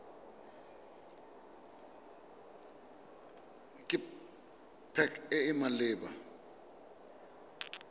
ke pac e e maleba